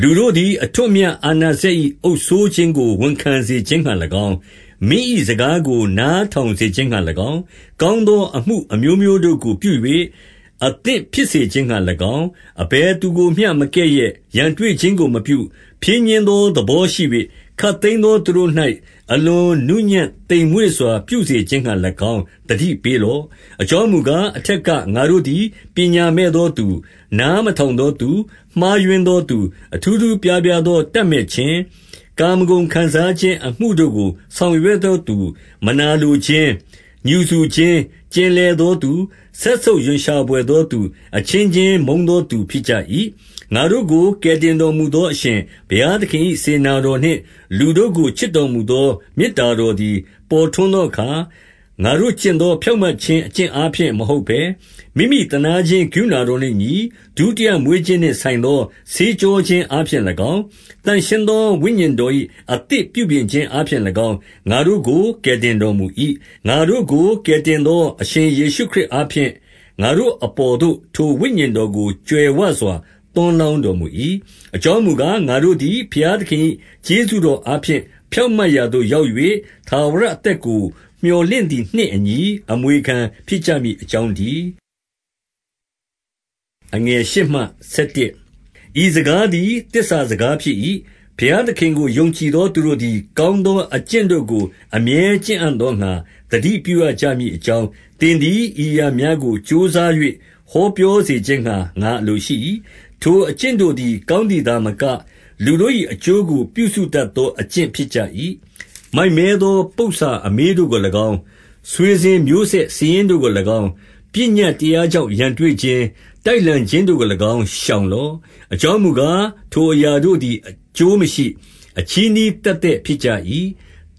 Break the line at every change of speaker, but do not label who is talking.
လူတို့သည် အထွဋ်အမြတ်အာဏာစက်၏ အုပ်စိုးခြင်းကို ဝန်ခံစေခြင်းငှါ၎င်း၊ မင်း၏စကားကို နား ထောင်စေခြင်းငှါ၎င်း၊ ကောင်းသောအမှုအမျိုးတို့ကို ပြု၍ အသင့်ဖြစ်စေခြင်းငှါ၎င်း၊ 2 အဘယ်သူကိုမျှမကဲ့ရဲ့၊ ရန်တွေ့ခြင်းကိုမပြု၊ ဖြည်းညှင်းသော သဘောရှိ၍၊ ခပ်သိမ်းသောသူတို့၌ အလွန်နူးညံ့သိမ်မွေ့စွာ ပြုစေခြင်းငှါ၎င်း သတိပေးလော့။ 3 အကြောင်းမူကား၊ အထက်က ငါတို့သည် ပညာမဲ့သောသူ၊ နားမထောင်သောသူ၊ မှားယွင်းသောသူ၊ အထူးထူးအပြားပြားသော တပ်မက်ခြင်း၊ ကာမဂုဏ်ခံစားခြင်း အမှုတို့ကို ဆောင်ရွက်သောသူ၊ မနာလိုခြင်း၊ ငြူစူခြင်း၌ ကျင်လည်သောသူ၊ စက်ဆုပ်ရွံ့ရှာဘွယ်သောသူ၊ အချင်းချင်းမုန်းသောသူဖြစ်ကြ၏။ 4 ငါတို့ကိုကယ်တင်တော်မူသော အရှင်ဘုရားသခင်၏ စေတနာတော်နှင့် လူတို့ကိုချစ်တော်မူသော မေတ္တာတော်သည် ပေါ်ထွန်းသောအခါ၊ 5 ငါတို့ကျင့်သော ဖြောင့်မတ်ခြင်းအကျင့်အားဖြင့် မဟုတ်ဘဲ၊ မိမိသနားခြင်းကရုဏာတော်နှင့်အညီ ဒုတိယ မွေးခြင်းနှင့်ဆိုင်သော ဆေးကြောအသစ်ပြုပြင်ခြင်းအားဖြင့်၎င်း၊ ငါတို့ကို ကယ်တင်တော်မူ၏။ 6 ငါတို့ကို ကယ်တင်သော အရှင်ယေရှုခရစ်အားဖြင့် ငါတို့အပေါ်သို့ ထိုဝိညာဉ်တော်ကို ကြွယ်ဝစွာ သွန်းလောင်းတော်မူ၏။ 7 အကြောင်းမူကား၊ ငါတို့သည် ဘုရားသခင်၏ကျေးဇူးတော်အားဖြင့် ဖြောင့်မတ်ရာသို့ရောက်၍ ထာဝရ အသက်ကို မြော်လင့်သည်နှင့်အညီ အမွေခံဖြစ်ကြမည်အကြောင်းတည်း။ 8 ဤစကားသည် သစ္စာစကားဖြစ်၏။ ဘုရားသခင်ကို ယုံကြည်သောသူတို့သည် ကောင်းသောအကျင့် တို့ကို အမြဲကျင့်အံ့သောငှါ သတိပြုရကြမည်အကြောင်း၊ သင်သည် ဤအရာများကို ကြိုးစား၍ ဟောပြောစေခြင်းငှါ ငါအလိုရှိ၏။ ထိုအကျင့်တို့သည် ကောင်းသည်သာမက၊ လူတို့၏အကျိုးကို ပြုစုတတ်သော အကျင့်ဖြစ်ကြ၏။ 9 မိုက်မဲသောပုစ္ဆာအမေးတို့ကို၎င်း၊ ဆွေစဉ်မျိုးဆက် စာရင်းတို့ကို၎င်း၊ ပညတ်တရားကြောင့် ရန်တွေ့ခြင်း၊ တိုက်လှန်ခြင်းတို့ကို၎င်းရှောင်လော့။ အကြောင်းမူကား၊ ထိုအရာတို့သည် အကျိုးမရှိ၊ အချည်းနှီး သက်သက်ဖြစ်ကြ၏။